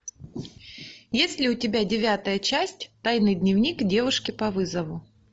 есть ли у тебя девятая часть тайный дневник девушки по вызову